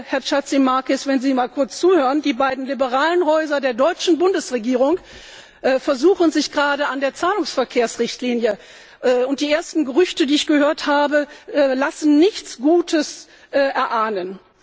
Herr Chatzimarkakis, wenn Sie mal kurz zuhören Die beiden liberalen Häuser der deutschen Bundesregierung versuchen sich gerade an der Zahlungsverkehrsrichtlinie, und die ersten Gerüchte, die ich gehört habe, lassen nichts Gutes erahnen.